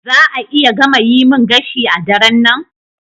Za a iya gama yi min gashi a daren nan?